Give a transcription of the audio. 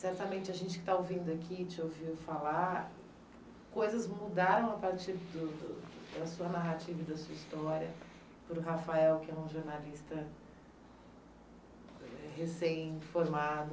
Certamente, a gente que está ouvindo aqui, te ouviu falar, coisas mudaram a partir do do da sua narrativa e da sua história, por Rafael, que é um jornalista recém-formado,